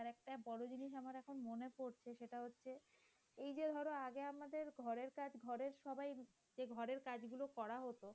সেটা হচ্ছে এই যে ধরো আগে আমাদের ঘরের কাজ ঘরের সবাই যে ঘরের কাজগুলো করা হতো